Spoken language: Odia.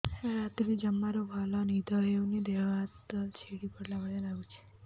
ରାତିରେ ଜମାରୁ ଭଲ ନିଦ ହଉନି ଦେହ ହାତ ଛିଡି ପଡିଲା ଭଳିଆ ଲାଗୁଚି